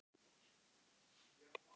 Egils sögu.